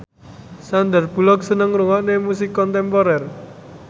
Sandar Bullock seneng ngrungokne musik kontemporer